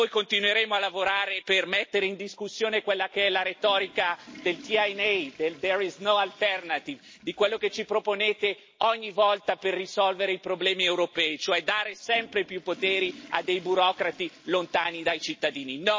Noi continueremo a lavorare per mettere in discussione quella che è la retorica del TINA di quello che ci proponete ogni volta per risolvere i problemi europei, cioè dare sempre più poteri a burocrati lontani dai cittadini.